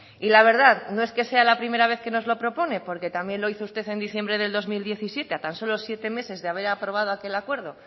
y la verdad no es que sea la primera vez que nos lo propone porque también lo hizo usted en diciembre de dos mil diecisiete a tan solo siete meses de haber aprobado aquel acuerdo